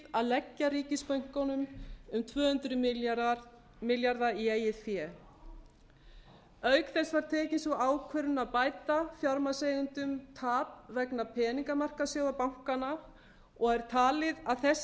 að leggja ríkisbönkunum til um tvö hundruð milljarða í eigið fé auk þess var tekin sú ákvörðun að bæta fjármagnseigendum tap vegna peningamarkaðssjóða bankanna og er talið að þessi